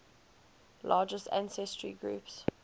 largest ancestry groups